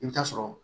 I bɛ taa sɔrɔ